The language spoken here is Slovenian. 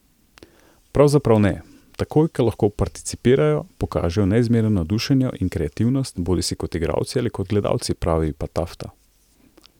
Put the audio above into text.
Pravzaprav ne, takoj ko lahko participirajo, pokažejo neizmerno navdušenje in kreativnost, bodisi kot igralci ali kot gledalci, pravi Patafta.